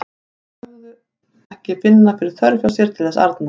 Þeir hinir sögðust ekki finna þörf hjá sér til þess arna.